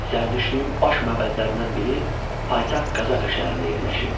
Zərdüştlüyün baş məbədlərindən biri paytaxt Qazaka şəhərində yerləşirdi.